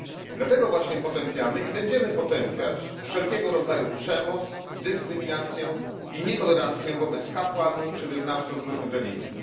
Dlatego właśnie potępiamy i będziemy potępiać wszelkiego rodzaju przemoc, dyskryminację i nietolerancję wobec kapłanów czy wyznawców różnych religii.